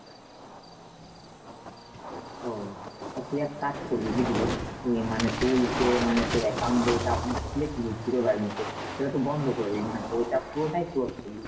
ওহ তা তুই এক কাজ করবি বুঝলি, ইয়ে মানে তুই যে মানে তোর account বইটা, ওখানে খুলেছিলিস zero balance এর সেটা তো বন্ধ করে দিবি মানে বইটা পুরোটাই close করলি।